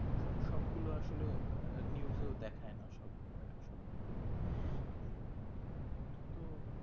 সবগুলো আসলে আঃ news এও দেখায় না সবগুলো এই তো